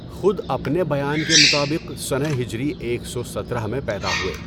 خود اپنے بیان کے مطابق سنہ ہجری ایک سو سترہ میں پیدا ہوئے۔